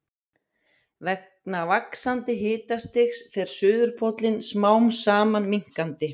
Vegna vaxandi hitastigs fer suðurpóllinn smám saman minnkandi.